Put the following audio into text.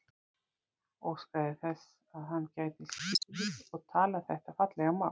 Óskaði sér þess að hann gæti skilið og talað þetta fallega mál.